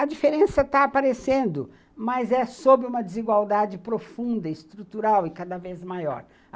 A diferença está aparecendo, mas é sob uma desigualdade profunda, estrutural e cada vez maior.